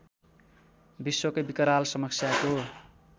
विश्वकै विकराल समस्याको